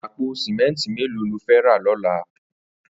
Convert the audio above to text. Àpó sìmẹntí méló ló fè rà lọ̀là?